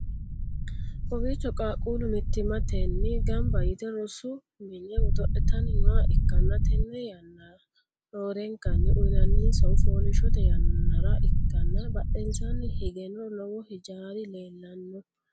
kowiicho qaaqqullu mittimatenni gamba yite rosu mine godo'litanni nooha ikkanna, tenne yanna roorenkanni uynanninsahu foolishshote yannara ikkanna, badhensaanni higeno lowo hijaari leellanno.